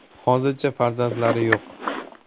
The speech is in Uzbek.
Hozircha farzandlari yo‘q.